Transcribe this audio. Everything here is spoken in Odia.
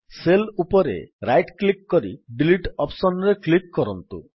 ସେଲ୍ ଉପରେ ରାଇଟ୍ କ୍ଲିକ୍ କରି ଡିଲିଟ୍ ଅପ୍ସନ୍ ରେ କ୍ଲିକ୍ କରନ୍ତୁ